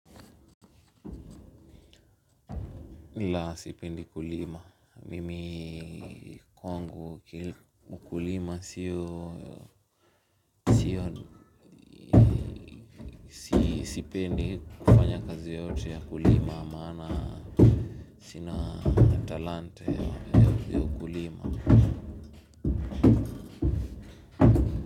La sipendi kulima, mimi kwangu kila kukulima sio sio sipendi kufanya kazi yote ya kulima maana sina talanta ya kulima.